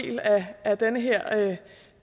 af den her